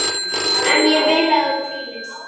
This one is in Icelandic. En ég vil að þú hvílist.